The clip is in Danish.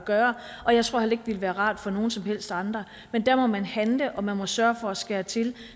gøre og jeg tror heller ikke det ville være rart for nogen som helst andre men der må man handle og man må sørge for at skære til